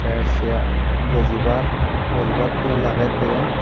tay chair bojibar bojibar tool agey diyen.